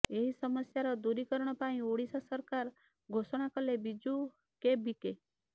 ଏହି ସମସ୍ୟାର ଦୂରୀକରଣ ପାଇଁ ଓଡିଶା ସରକାର ଘୋଷଣା କଲେ ବିଜୁ କେବିକେ